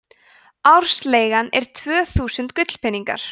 ársleigan var tvö þúsund gullpeningar